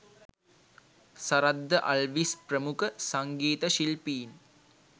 සරත් ද අල්විස් ප්‍රමුඛ සංගීත ශිල්පීන්